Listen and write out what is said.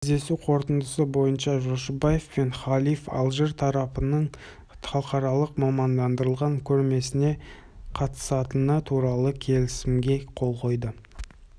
кездесу қорытындысы бойынша жошыбаев пен халиф алжир тарапының халықаралық мамандандырылған көрмесіне қатысатыны туралы келісімге қол қойды